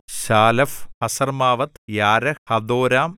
ശാലെഫ് ഹസർമ്മാവെത്ത് യാരഹ് ഹദോരാം